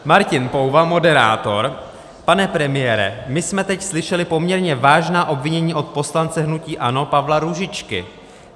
Martin Pouva, moderátor: Pane premiére, my jsme teď slyšeli poměrně vážná obvinění od poslance hnutí ANO Pavla Růžičky.